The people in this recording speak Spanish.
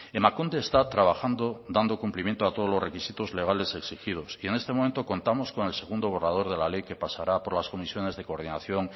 emakunde está trabajando dando cumpliendo a todos los requisitos legales exigidos y en este momento contamos con el segundo borrador de la ley que pasará por las comisiones de coordinación